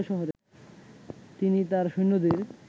তিনি তার সৈন্যদের